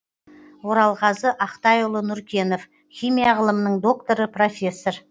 оралғазы ақтайұлы нұркенов химия ғылымының докторы профессор